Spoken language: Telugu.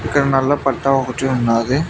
ఇక్కడ నల్ల పట్టా ఒకటి ఉన్నాది.